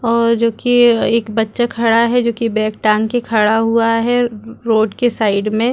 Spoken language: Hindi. और जो की एक बच्चा खड़ा है जो की बैग टाँग के खड़ा हुआ है रोड के साइड में--